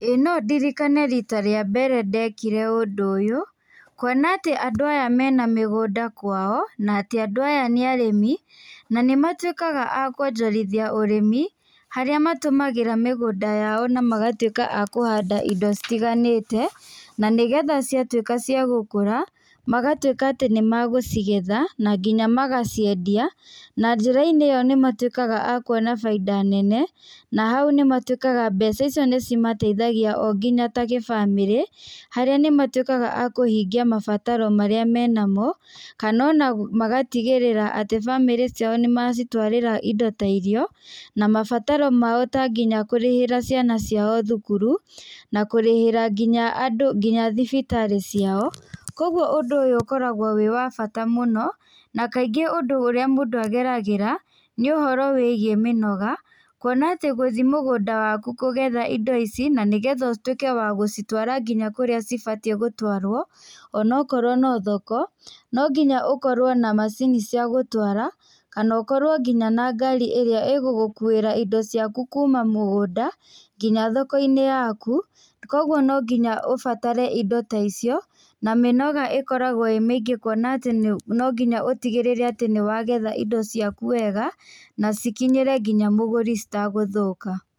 Ĩĩ no ndirikane rita rĩa mbere ndekire ũndũ ũyũ kuona atĩ andũ aya mena mĩgũnda kwao na atĩ andũ aya nĩ arĩmi na nĩ matuĩkaga akuonjorithia ũrĩmi. Harĩa matũmagĩra mĩgũnda yao na magatuĩka akũhanda indo citiganĩte na nĩ getha ciatuĩka nĩ cia gukũra magatuĩka atĩ nĩ magũcigetha na nginya magaciendia. Na njĩra-inĩ ĩyo nĩ matuĩkaga akuonabainda nene, na hu nĩ matuĩkaga mbeca icio nĩ cimateithagia o nginya ta gĩbamĩrĩ. Harĩa nĩ matuĩkaga akũhingia mabataro marĩa menamo, kana ona magatigĩrĩra bamĩrĩ ciao nĩ macitwarĩra indo ta irio. Na mabataro mao ta nginya kũrĩhĩra ciana ciao thukuru na kũrĩhĩra nginya andũ nginya thibitarĩ ciao. Koguo ũndũ ũyũ ũkjoragwo wĩ wa bata mũno na kaingĩ ũndũ ũrĩa mũndũ ageragĩra nĩ ũhoro wĩgiĩ mĩnoga. Kuona atĩ gũthi mũgũnda waku kũgetha indo ici na nĩ getha ũtuĩke wa gũcitwara ngina kũrĩa cibatiĩ gũtwarwo ona okorwo no thoko. No nginya ũkorwo na macini cia gũtwara kana ũkorwo nginya na ngari ĩrĩa ĩgũgũkuĩra indo ciaku kuma mũgũnda nginya thoko-inĩ yaku. Koguo no nginya ũbatare indo ta icio na mĩnoga ĩkoragwo ĩmĩingĩ kuona atĩ no nginya ũtigĩrĩre atĩ nĩ wagetha indo ciaku wega na cikinyĩre nginya mũgũri citagũthũka.